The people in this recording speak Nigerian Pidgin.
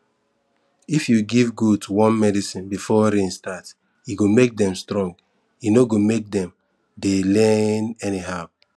if you give goat worm medicine before rain start e go make dem strong e no go make dem dey lean anyhow